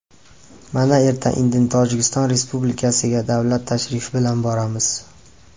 Mana, erta-indin Tojikiston Respublikasiga davlat tashrifi bilan boramiz.